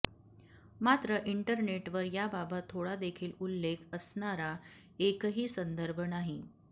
मात्र इंटरनेटवर याबाबत थोडादेखील उल्लेख असणारा एकही संदर्भ नाही